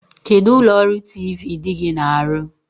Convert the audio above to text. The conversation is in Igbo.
Kedụ ụlọọrụ tiivii di gị na-arụ?